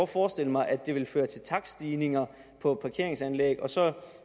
forestille mig at det vil føre til takststigninger på parkeringsanlæg og så